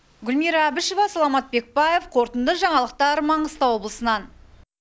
гүлмира әбішева саламат бекбаев қорытынды жаңалықтар маңғыстау облысынан